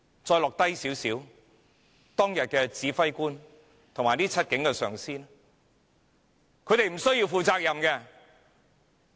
再往下看，當日的指揮官及這7名警員的上司，他們無須負責任？